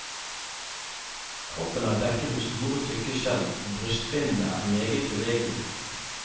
Kroppen er dekket med store tykke skjell og brystfinnene er meget bevegelige.